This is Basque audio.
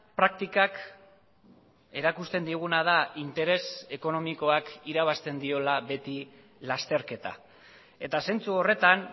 praktikak erakusten diguna da interes ekonomikoak irabazten diola beti lasterketa eta zentzu horretan